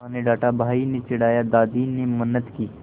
माँ ने डाँटा भाई ने चिढ़ाया दादी ने मिन्नत की